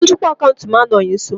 Onye njikwa akaụntụ m anọghị nso.